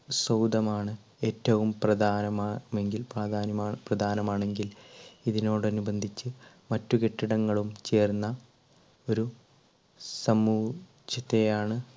സൗദമാണ് ഏറ്റവും പ്രധാനമാ എങ്കിൽ പ്രാധാന്യ~പ്രധാനമാണെങ്കിൽ ഇതിനോട് അനുബന്ധിച്ച് മറ്റു കെട്ടിടങ്ങളും ചേർന്ന ഒരു സമുചിതയാണ്